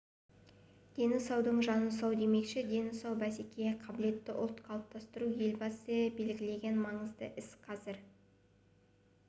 дені саудың жаны сау демекші дені сау бәсекеге қабілетті ұлт қалыптастыру елбасы белгілеген маңызды іс қазір